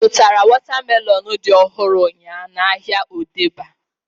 I zụtara wọta melọnu dị ọhụrụ ụnyaahụ n'ahia Odegba?